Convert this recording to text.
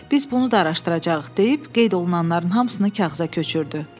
Biz bunu da araşdıracağıq deyib qeyd olunanların hamısını kağıza köçürdü.